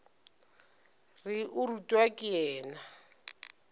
re o rutwa ke yena